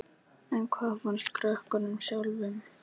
En hvað fannst krökkunum sjálfum?